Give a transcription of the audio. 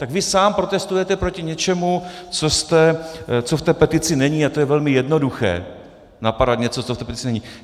Tak vy sám protestujete proti něčemu, co v té petici není - a to je velmi jednoduché, napadat něco, co v té petici není.